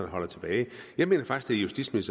holder tilbage jeg mener faktisk det